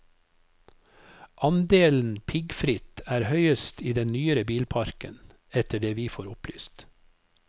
Andelen piggfritt er høyest i den nyere bilparken, etter det vi får opplyst.